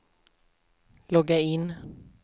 logga in